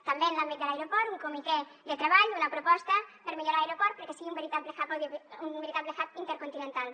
també en l’àmbit de l’aeroport un comitè de treball una proposta per millorar l’aeroport perquè sigui un veritable hub intercontinental